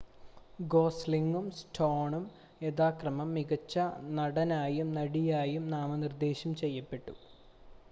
ഗോസ്ലിംഗും സ്റ്റോണും യഥാക്രമം മികച്ച നടനായും നടിയായും നാമനിർദ്ദേശം ചെയ്യപ്പെട്ടു